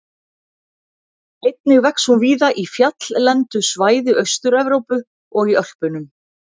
Einnig vex hún víða í fjalllendu svæði Austur-Evrópu og í Ölpunum.